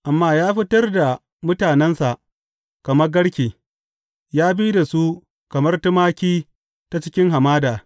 Amma ya fitar da mutanensa kamar garke; ya bi da su kamar tumaki ta cikin hamada.